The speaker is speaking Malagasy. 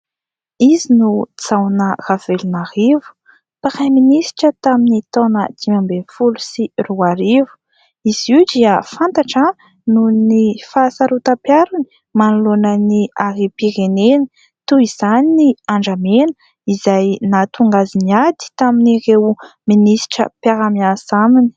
Izy no Jaona Ravelonarivo, praiminisitra tamin'ny taona dimy ambin'ny folo sy roa arivo. Izy io dia fantatra noho ny fahasarotam-piarony manoloana ny harem-pirenena. Toy izany ny andramena izay nahatonga azy niady tamin'ireo minisitra mpiara-miasa aminy.